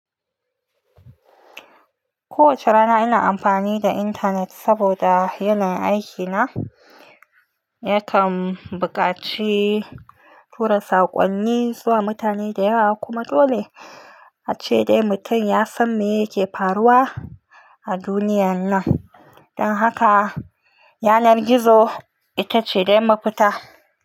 Kowace rana ina amfani da intanet saboda yanayin aiki na. Yakan buƙaci tura saƙonni zuwa mutane da yawa kuma dole ace dai mutum ya san me yake faruwa a duniyan nan. Dan haka yanar gizo itace dai mafita.